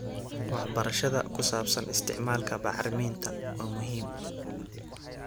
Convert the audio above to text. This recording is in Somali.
Waxbarashada ku saabsan isticmaalka bacriminta waa muhiim.